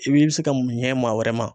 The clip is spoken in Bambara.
I bi se ka ɲɛ maa wɛrɛ ma.